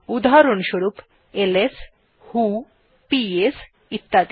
উদাহরণস্বরূপ এলএস ভো পিএস ইত্যাদি